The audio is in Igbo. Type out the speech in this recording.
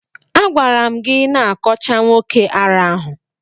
A gwara m gi na ị kọcha nwoke ara ahụ.